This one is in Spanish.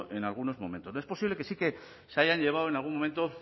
en algunos momentos es posible que sí que se hayan llevado en algún momento